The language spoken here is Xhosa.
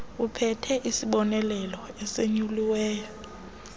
ophethe isibonelelo esonyuliweyo